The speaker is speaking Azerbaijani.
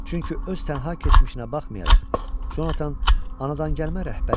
Çünki öz tənha keçmişinə baxmayaraq, Jonathan anadangəlmə rəhbər idi.